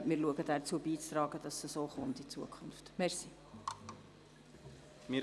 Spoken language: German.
Wir versuchen, dazu beizutragen, dass dies in Zukunft so gehandhabt wird.